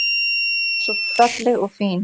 Alltaf svo falleg og fín.